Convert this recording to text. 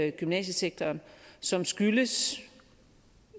i gymnasiesektoren som skyldes